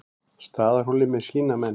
Staðarhóli með sína menn.